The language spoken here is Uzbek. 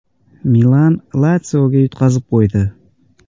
“Milan” “Latsio”ga yutqazib qo‘ydi .